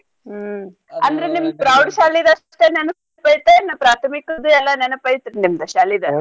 ಹ್ಮ್ ಅಂದ್ರ್ ನಿಮ್ಮ್ ಪ್ರೌಢ ಶಾಲಿದ ಅಷ್ಟ ನೆನಪ್ ಐತೇನ್ ಪ್ರಾಥಮಿಕದ್ದು ಎಲ್ಲಾ ನೆನಪ್ ಐತ್ರೀ ನಿಮ್ದ್ ಶಾಲಿದ.